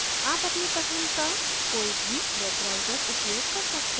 आप अपने पसंद का कोई भी web browser उपयोग कर सकते हैं